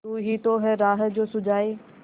तू ही तो है राह जो सुझाए